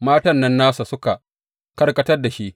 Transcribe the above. Matan nan nasa suka karkatar da shi.